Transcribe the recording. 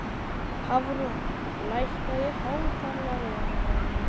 Hafrún, lækkaðu í hátalaranum.